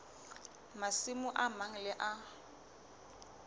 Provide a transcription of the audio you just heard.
masimo a mang le a